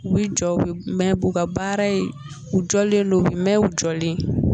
U bɛ jɔ u bɛ mɛɛn u ka baara ye u jɔlen don u bi mɛɛn u jɔlen